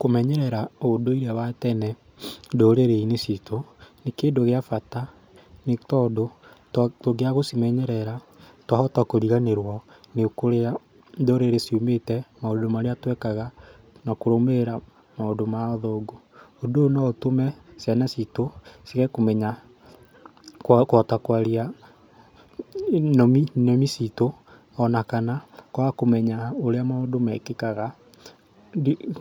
Kũmenyerera ũndũire wa tene ndũrĩrĩ-inĩ citũ nĩ kĩndũ gĩa bata nĩtondũ tũngĩaga gũcimenyerera twahota kũriganĩrwo nĩ kũrĩa ndũrĩrĩ ciumĩte, maũndũ marĩa twekaga na kũrũmĩrĩra maũndũ ma athũngũ. Ũndũ ũyũ no ũtũme ciana citũ ciage kũmenya kwaga kũhota kwaga kwaria nĩmĩ nĩmĩ citũ ona ana kwaga kũmenya ũrĩa maũndũ mekĩkaga